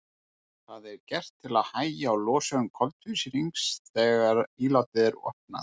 Það er gert til að hægja á losun koltvísýrings þegar ílátið er opnað.